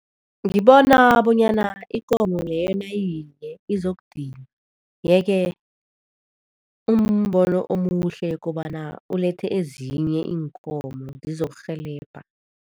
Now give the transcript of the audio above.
Ngibona bonyana ikomo leyo nayiyinye izokudinwa yeke kumbono omuhle kobana ulethe ezinye iinkomo zizokurhelebha.